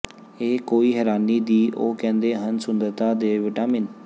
ਇਹ ਕੋਈ ਹੈਰਾਨੀ ਦੀ ਉਹ ਕਹਿੰਦੇ ਹਨ ਸੁੰਦਰਤਾ ਦੇ ਵਿਟਾਮਿਨ